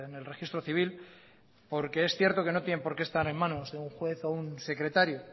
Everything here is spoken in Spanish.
el registro civil porque es cierto que no tienen por qué estar en manos de un juez o un secretario